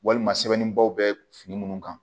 Walima sɛbɛnnibaw bɛ fini minnu kan